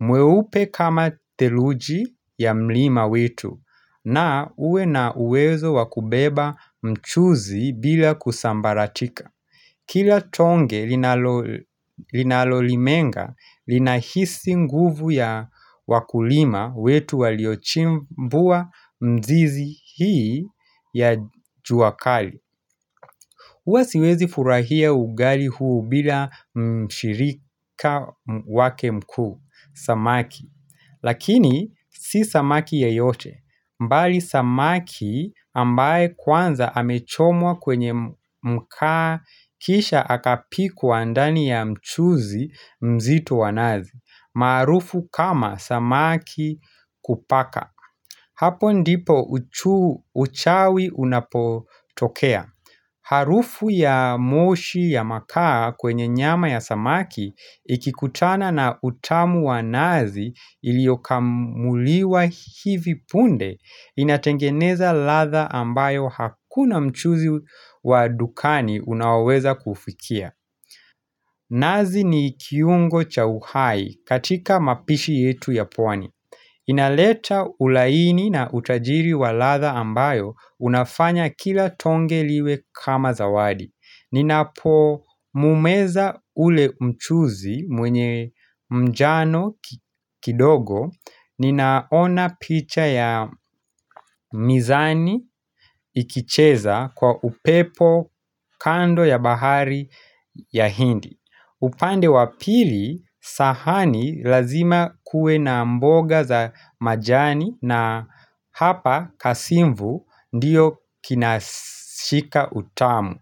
mweupe kama theluji ya mlima wetu na uwe na uwezo wa kubeba mchuzi bila kusambaratika Kila tonge linalolimenga, linahisi nguvu ya wakulima wetu waliochimbuwa mzizi hii ya jua kali. Huwa siwezi furahia ugali huu bila mshirika wake mkuu, samaki. Lakini, si samaki yeyote. Bali samaki ambaye kwanza amechomwa kwenye mkaa kisha akapikwa ndani ya mchuzi mzito wa nazi. Marufu kama samaki kupaka. Hapo ndipo uchawi unapotokea. Harufu ya moshi ya makaa kwenye nyama ya samaki ikikutana na utamu wa nazi iliokamuliwa hivi punde inatengeneza ladha ambayo hakuna mchuzi wa dukani unaweza kufikia. Nazi ni kiungo cha uhai katika mapishi yetu ya pwani. Inaleta ulaini na utajiri wa ladha ambayo unafanya kila tonge liwe kama zawadi. Ninapomumeza ule mchuzi mwenye mjano kidogo, ninaona picha ya mizani ikicheza kwa upepo kando ya bahari ya hindi. Upande wa pili sahani lazima kuwe na mboga za majani na hapa kasimvu ndiyo kinashika utamu.